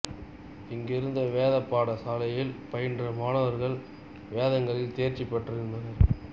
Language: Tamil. இங்கிருந்த வேத பாட சாலையில் பயின்ற மாணவர்கள் வேதங்களில் தேர்ச்சி பெற்றிருந்தனர்